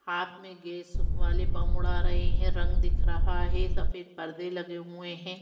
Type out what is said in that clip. हाथ में गैस वाले बंब उड़ा रहे हैं रंग दिख रहा है सफेद पर्दे लगे हुए हैं।